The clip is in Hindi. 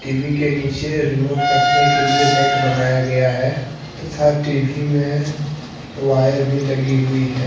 टी_वी के नीचे रिमोट रखने के लिए एक रैक बनाया गया है। तथा टी_वी में वायर भी लगी हुई है।